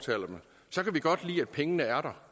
andet er